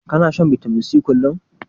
Kana shan bitamin C kullum?